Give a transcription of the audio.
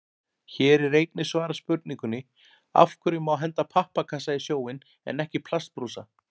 Hér er einnig svarað spurningunni: Af hverju má henda pappakassa í sjóinn en ekki plastbrúsa?